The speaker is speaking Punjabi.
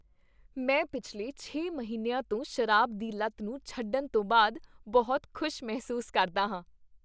ਮੈਂ ਪਿਛਲੇ ਛੇ ਮਹੀਨਿਆਂ ਤੋਂ ਸ਼ਰਾਬ ਦੀ ਲਤ ਨੂੰ ਛੱਡਣ ਤੋਂ ਬਾਅਦ ਬਹੁਤ ਖ਼ੁਸ਼ ਮਹਿਸੂਸ ਕਰਦਾ ਹਾਂ।